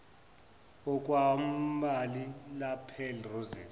okwembali lapel rosette